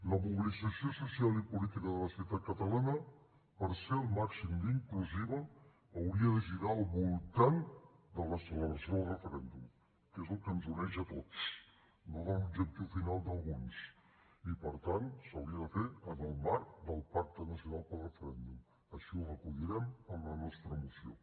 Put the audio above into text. la mobilització social i política de la societat catalana per ser el màxim d’inclusiva hauria de girar al voltant de la celebració del referèndum que és el que ens uneix a tots no de l’objectiu final d’alguns i per tant s’hauria de fer en el marc del pacte nacional pel referèndum així ho recollirem en la nostra moció